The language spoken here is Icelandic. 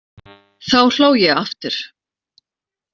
Þá hló ég aftur.